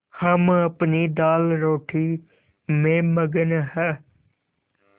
हम अपनी दालरोटी में मगन हैं